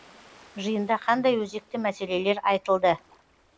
жиында қандай өзекті мәселелер айтылды